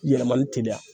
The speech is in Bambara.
Yɛlɛmani teliya